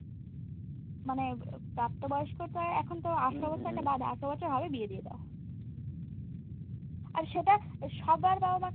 মানে প্রাপ্ত বয়স্ক তো এখন তো আঠারো বছর একটা বাঁধা, আঠারো বছর হবে বিয়ে দিয়ে দাও। আর সেটা সবার বাবা-মা